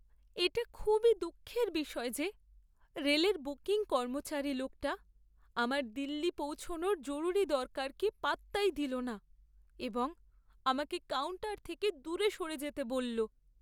এটা খুবই দুঃখের বিষয় যে, রেলের বুকিং কর্মচারী লোকটা আমার দিল্লি পৌঁছনোর জরুরি দরকারকে পাত্তাই দিল না এবং আমাকে কাউন্টার থেকে দূরে সরে যেতে বলল।